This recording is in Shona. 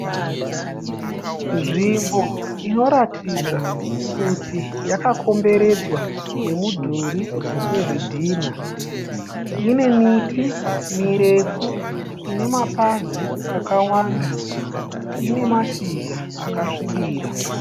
Nzvimbo inoratidza kuti yakakomberedzwa nemudhuri wezvidhinha. Ine miti mirefu ine mapazi akawanda. Ine mashizha akasvibira.